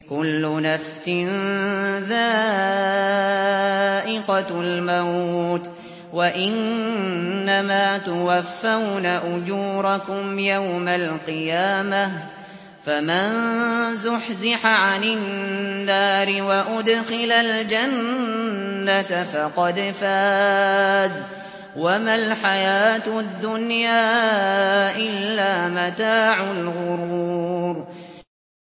كُلُّ نَفْسٍ ذَائِقَةُ الْمَوْتِ ۗ وَإِنَّمَا تُوَفَّوْنَ أُجُورَكُمْ يَوْمَ الْقِيَامَةِ ۖ فَمَن زُحْزِحَ عَنِ النَّارِ وَأُدْخِلَ الْجَنَّةَ فَقَدْ فَازَ ۗ وَمَا الْحَيَاةُ الدُّنْيَا إِلَّا مَتَاعُ الْغُرُورِ